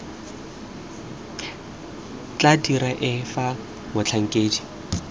tla dira eng fa motlhankedi